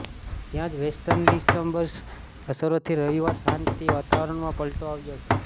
ત્યાં જ વેસ્ટર્ન ડિસ્ટર્બન્સની અસરોથી રવિવાર સાંજથી વાતાવરણમાં પલટો આવ્યો છે